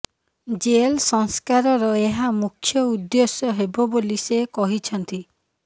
jail ସଂସ୍କାରର ଏହା ମୁଖ୍ୟ ଉଦ୍ଦେଶ୍ୟ ହେବ ବୋଲି ସେ କହିଛନ୍ତି